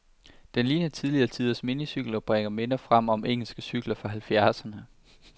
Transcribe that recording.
Den ligner tidligere tiders minicykel, og bringer minder frem om engelske cykler fra halvfjerdserne.